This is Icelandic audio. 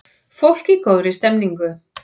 Fólk í góðri stemningu!